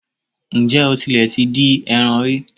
Ǹjẹ́ o tilẹ̀ ti dín eran rí?